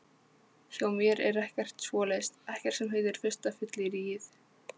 Hjá mér er ekkert svoleiðis, ekkert sem heitir fyrsta fylliríið.